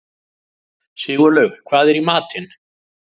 Sigurlaug, hvað er í matinn?